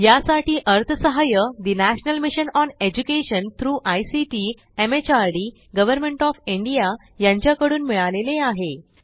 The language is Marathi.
यासाठी अर्थसहाय्य national mission on education through ICT MHRD government of India यांच्याकडून मिळालेले आहे